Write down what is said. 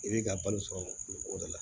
I b'i ka balo sɔrɔ o de la